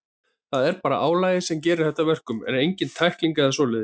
Það er bara álagið sem gerir þetta að verkum, en engin tækling eða svoleiðis.